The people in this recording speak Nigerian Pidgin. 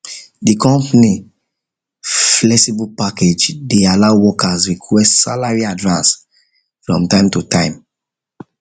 the company the company flexible pay package dey allow workers request salary advance from time to time